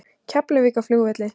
Keflavíkurflugvelli